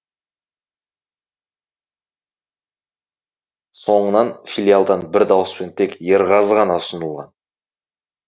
соңынан филиалдан бір дауыспен тек ерғазы ғана ұсынылған